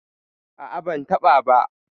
ah ah, ban taba ba